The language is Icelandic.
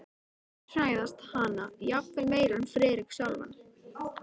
Sumir hræðast hana jafnvel meira en Friðrik sjálfan.